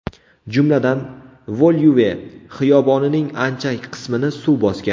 Jumladan, Volyuve xiyobonining ancha qismini suv bosgan.